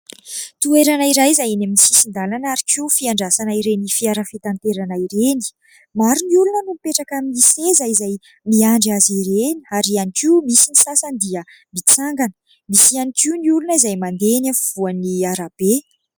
Toerana iray izay eny amin'ny sisin-dalana ary koa fiandrasana ireny fiara fitanterana ireny. Maro ny olona no mipetraka amin'ny seza izay miandry azy ireny ary ihany koa misy ny sasany dia mitsangana, misy ihany koa ny olona izay mandeha eny afovoan'ny arabe.